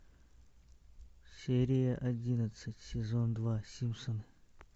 серия одиннадцать сезон два симпсоны